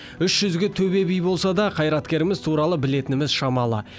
үш жүзге төбе би болса да қайраткеріміз туралы білетініміз шамалы